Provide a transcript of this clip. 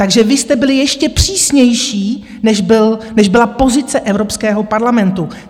Takže vy jste byli ještě přísnější, než byla pozice Evropského parlamentu.